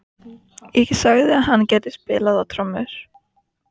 Hún var ekki nema rétt um þrítugt þegar þetta var.